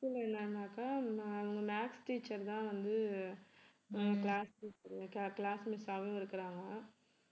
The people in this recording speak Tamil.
இதுல என்னென்னாக்கா ma~ maths teacher தான் வந்து class miss class miss ஆவும் இருக்கிறாங்க.